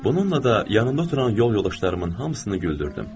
Bununla da yanımda oturan yol yoldaşlarımın hamısını güldürdüm.